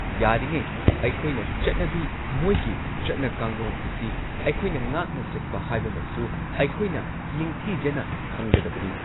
ꯌꯥꯔꯤꯉꯩ ꯑꯩꯈꯣꯏꯅ ꯆꯠꯅꯕꯤ ꯃꯣꯏꯒꯤ ꯆꯠꯅ ꯀꯥꯡꯂꯣꯟ ꯑꯁꯤ ꯑꯩꯈꯣꯏꯅ ꯉꯥꯛꯅ ꯆꯠꯄ ꯍꯥꯏꯕꯃꯁꯨ ꯑꯩꯈꯣꯏꯅ ꯅꯤꯡꯊꯤꯖꯅ ꯈꯪꯒꯗꯕꯅꯤ꯫